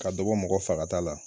Ka dɔ bɔ mɔgɔ fagata la.